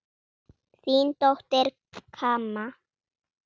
Þín dóttir, Kamma.